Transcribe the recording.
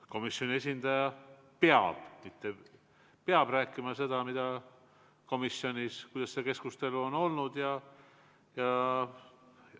Komisjoni esindaja peab rääkima seda, mida komisjonis, nii nagu see keskustelu on olnud.